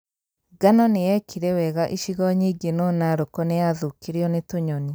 Ngano nĩyekire wega icigo nyingĩ no Narok niyathũkirio nĩ tunyoni